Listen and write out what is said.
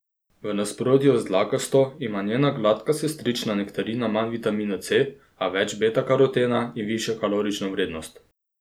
V nasprotju z dlakasto ima njena gladka sestrična nektarina manj vitamina C, a več betakarotena in višjo kalorično vrednost.